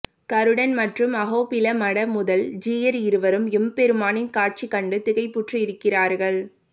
கருடன் மற்றும் அஹோபில மட முதல் ஜீயர் இருவரும் எம்பெருமானின் காட்சி கண்டு திகைப்புற்றிருக்கிறார்கள்